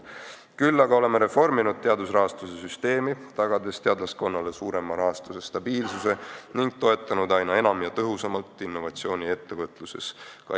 Seni oleme reforminud teadusrahastuse süsteemi, tagades teadlaskonnale rahastuse suurema stabiilsuse ning toetanud aina enam ja tõhusamalt innovatsiooni ettevõtluses.